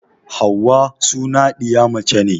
Hauwa suna ɗiya mace ne